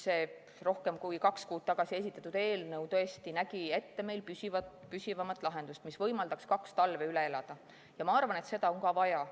See rohkem kui kaks kuud tagasi esitatud eelnõu nägi tõesti ette püsivamat lahendust, mis võimaldaks kaks talve üle elada – ja arvan, et seda on ka vaja.